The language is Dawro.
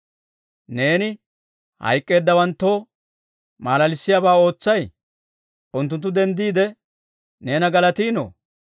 Neeni hayk'k'eeddawanttoo malalissiyaabaa ootsay? unttunttu denddiide neena galatiino?